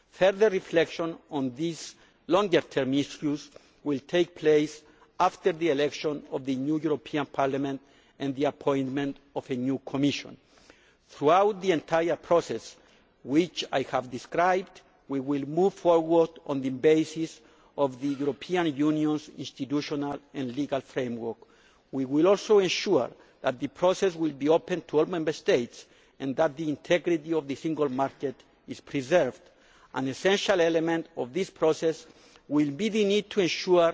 Further reflection on these longer term issues will take place after the election of the new European Parliament and the appointment of a new Commission. Throughout the entire process which I have described, we will move forward on the basis of the European Union's institutional and legal framework. We will also ensure that the process will be open to all Member States and that the integrity of the single market is preserved. An essential element of this process will be the need to ensure